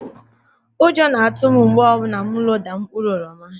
Ụjọ na-atụ m mgbe ọ bụla m loda mkpụrụ oroma